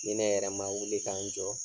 Ni ne yɛrɛ ma wuli k'an jɔ